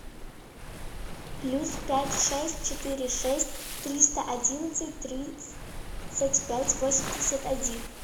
плюс пять шесть четыре шесть триста одиннадцать тридцать пять восемьдесят один